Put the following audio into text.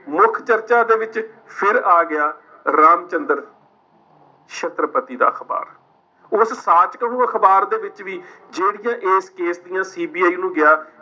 ਮੁੱਖ ਚਰਚਾ ਦੇ ਵਿੱਚ ਫਿਰ ਆ ਗਿਆ, ਰਾਮਚੰਦ੍ਰ ਛੱਤਰਪਤੀ ਦਾ ਅਖਬਾਰ। ਉਸ ਸਾਚਕ ਨੂੰ ਅਖਬਾਰ ਦੇ ਵਿੱਚ ਵੀ ਜਿਹੜੀਆਂ ਇਸ case ਦੀਆਂ CBI ਨੂੰ ਗਿਆ